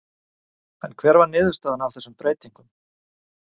En hver var niðurstaðan af þessum breytingum?